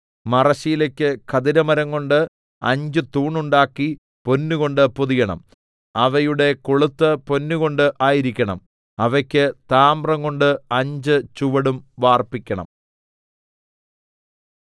മറശ്ശീലയ്ക്ക് ഖദിരമരംകൊണ്ട് അഞ്ച് തൂണുണ്ടാക്കി പൊന്നുകൊണ്ട് പൊതിയണം അവയുടെ കൊളുത്ത് പൊന്നുകൊണ്ട് ആയിരിക്കണം അവയ്ക്ക് താമ്രംകൊണ്ട് അഞ്ച് ചുവടും വാർപ്പിക്കണം